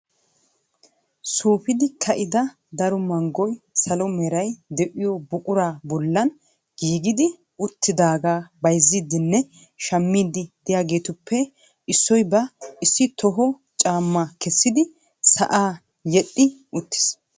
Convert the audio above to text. Suufidi ka"ida daro manggoy salo meray de"iyo buquraa bollan giigidi uttidaagaa bayzziiddinne shammiddi diyaageetuppe issoy ba issi toho caamma kessidi sa'aa yedhdhi uttis.